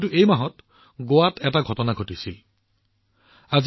কিন্তু এই মাহত গোৱাত এনে এটা ঘটনা ঘটিছিল যি আজি শিৰোনামত আছে